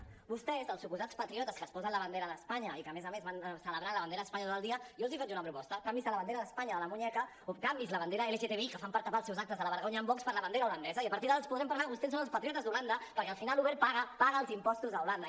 a vostès els suposats patriotes que es posen la bandera d’espanya i que a més a més van celebrant la bandera d’espanya tot el dia jo els faig una proposta canviïn se la bandera d’espanya del canell o canviïn se la bandera lgtbi que fan per tapar els seus actes de la vergonya amb vox per la bandera holandesa i a partir d’ara els podrem parlar que vostès són els patriotes d’holanda perquè al final uber paga paga els impostos a holanda